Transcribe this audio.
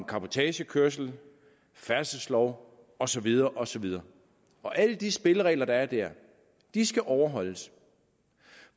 cabotagekørsel færdselslov og så videre og så videre og alle de spilleregler der er der skal overholdes